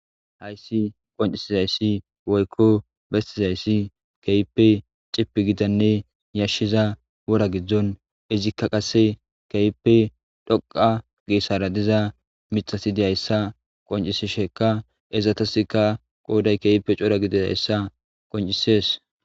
Hayis nu'su qonicises besizays azegiko khipe ciifii gida wora gidon izika qase kehipe dhoqa gesara diza mithata qonicises izatasika qoday kehipe coora gididaysa qonicises